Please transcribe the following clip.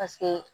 Paseke